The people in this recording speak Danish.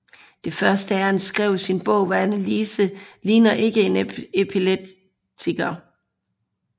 Det første Ernst skrev i sin bog var Anneliese ligner ikke en epileptiker